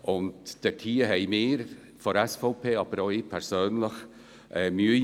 Mit dieser Argumentation haben wir von der SVP und auch ich persönlich Mühe.